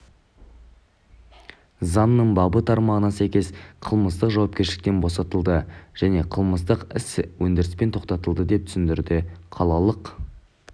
заңның бабы тармағына сәйкес қылмыстық жауапкершіліктен босатылды және қылмыстық іс өндіріспен тоқтатылды деп түсіндірді қалалық